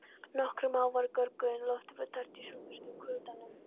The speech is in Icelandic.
Nokkrir mávar görguðu en loftið var tært í sólbjörtum kuldanum.